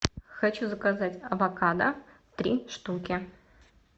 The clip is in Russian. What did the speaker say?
хочу заказать авокадо три штуки